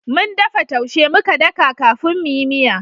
Mun dafa taushe muka daka kafin mu yi miya